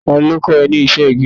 Ta ló kọ́ ẹ ní iṣẹ́ igi.?